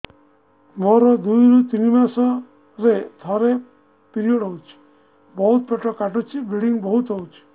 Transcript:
ମୋର ଦୁଇରୁ ତିନି ମାସରେ ଥରେ ପିରିଅଡ଼ ହଉଛି ବହୁତ ପେଟ କାଟୁଛି ବ୍ଲିଡ଼ିଙ୍ଗ ବହୁତ ହଉଛି